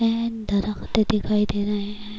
ہے درخت دکھائی دے رہے ہے-